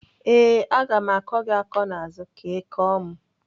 Ee, aga m akọ gị akọ n'azụ ka Ị kọọ m.